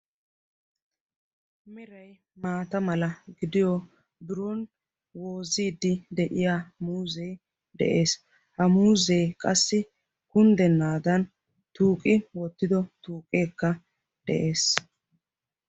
Meray maata mala gidiyo biron woozidi de'iya muuzee de'ees. ha muuzee qassi kunddennaadan tuuqi oottido tuuqeekka de'ees.